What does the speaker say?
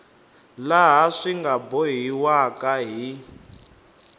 laha swi nga bohiwaka hi